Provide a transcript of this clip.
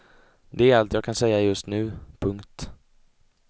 Det är allt jag kan säga just nu. punkt